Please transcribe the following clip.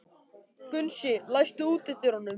Gunnsi, læstu útidyrunum.